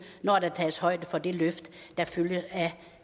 når der tages højde for det løft der følger af